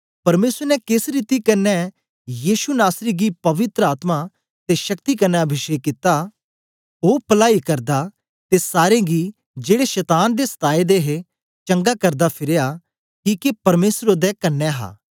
परमेसर ने केस रीति कन्ने यीशु नासरी गी पवित्र आत्मा ते शक्ति कन्ने अभिषेक कित्ता ओ पलाई करदा ते सारें गी जेड़े शतान दे सताए दे हे चंगा करदा फिरया किके परमेसर ओदे कन्ने हा